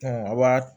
a b'a